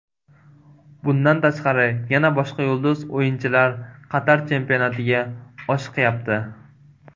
Bundan tashqari, yana boshqa yulduz o‘yinchilar Qatar chempionatiga oshiqyapti.